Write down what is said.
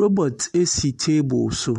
Robot esi table so